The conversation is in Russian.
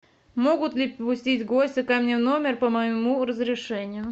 могут ли пустить гостя ко мне в номер по моему разрешению